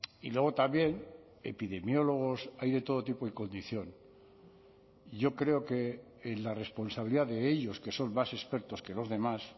y luego también epidemiólogos hay de todo tipo y condición yo creo que en la responsabilidad de ellos que son más expertos que los demás